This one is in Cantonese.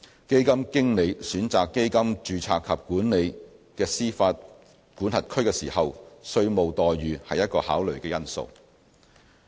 基金經理選擇基金註冊及管理的司法管轄區時，稅務待遇是一個考慮因素。